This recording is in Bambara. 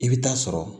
I bɛ taa sɔrɔ